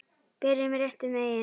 Byrjum réttum megin.